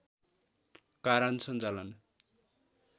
कारण सञ्चालन